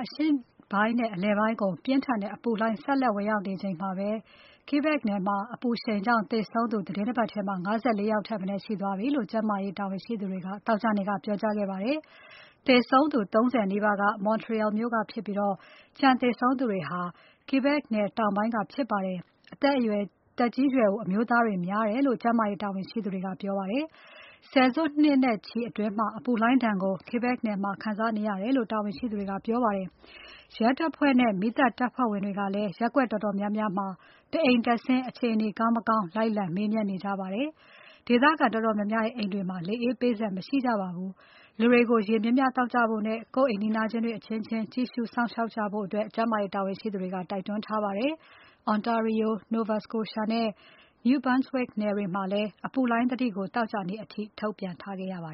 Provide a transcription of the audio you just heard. အရှေ့ပိုင်းနဲ့ အလယ်ပိုင်းကို ပြင်းထန်တဲ့ အပူလှိုင်း ဆက်လက်ဝင်ရောက်နေချိန် မှာ ပဲ Quebec နယ်မှာ အပူရှိန်ကြောင့် သေဆုံးသူ သီတင်းတပါတ်ထဲမှာ ၅၄ ယောက် ထက် မနည်း ရှိသွားပြီလို့ ကျန်းမာရေးတာဝန်ရှိသူတွေက သောကြာနေ့က ပြောကြားခဲ့ပါ တယ်။ သေဆုံးသူ ၃၀ နီးပါးက Montreal မြို့ကဖြစ်ပြီး ကျန်သေဆုံးသူတွေက Quebec နယ် တောင်ပိုင်းက ဖြစ်ကြပါတယ်။ သက်ကြီးရွယ်အို အမျိုးသားတွေများတယ်လို့ ကျန်းမာရေး တာဝန်ရှိသူတွေက ပြောပါတယ်။ ဆယ်စုနှစ်နဲ့ချီအတွင်း အပူလှိုင်းဒဏ်ကို Quebec နယ်မှာ ခံစားနေရတယ်လို့ တာဝန်ရှိသူတွေက ပြောပါတယ်။ ရဲတပ်ဖွဲ့နဲ့ မီးသတ်တပ်ဖွဲ့ဝင်တွေကလည်း ရပ်ကွက်တော်တော်များများမှာ တအိမ်တက်ဆင်း အခြေအနေကောင်းမကောင်း လိုက်လံမေးမြန်းနေကြပါတယ်။ ဒေသခံတော်တော်များများရဲ့ အိမ်တွေမှာ လေအေးပေးစက်မရှိကြပါဘူး။ လူတွေကို ရေများများသောက်ကြဖို့နဲ့ ကိုယ့်နီးနားချင်းတွေ အချင်းချင်း ကြည့်ရှုစောင့်ရှောက်ကြဖို့ ကျန်းမာရေးတာဝန်ရှိသူတွေက တိုက်တွန်းထားပါတယ်။ Ontario, Nova Scotia နဲ့ New Brunswick နယ်တွေမှာလည်း အပူလှိုင်းသတိကို သောကြာနေ့အထိ ထုတ်ပြန်ထားခဲ့ရပါ